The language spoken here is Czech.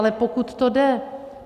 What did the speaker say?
Ale pokud to jde.